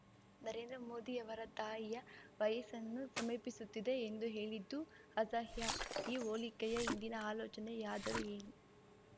ನರೇಂದ್ರ ಮೋದಿಯವರ ತಾಯಿಯ ವಯಸ್ಸನ್ನು ಸಮೀಪಿಸುತ್ತಿದೆ ಎಂದು ಹೇಳಿದ್ದು ಅಸಹ್ಯ ಈ ಹೋಲಿಕೆಯ ಹಿಂದಿನ ಆಲೋಚನೆಯಾದರೂ ಏನು